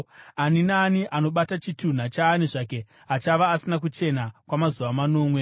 “Ani naani anobata chitunha chaani zvake achava asina kuchena kwamazuva manomwe.